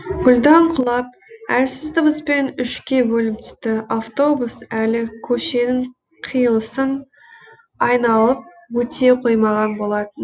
гүлдан құлап әлсіз дыбыспен үшке бөлініп түсті автобус әлі көшенің қиылысын айналып өте қоймаған болатын